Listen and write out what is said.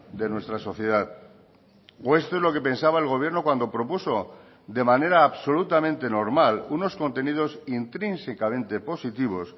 de nuestra sociedad o esto es lo que pensaba el gobierno cuando propuso de manera absolutamente normal unos contenidos intrínsecamente positivos